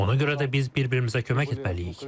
Ona görə də biz bir-birimizə kömək etməliyik.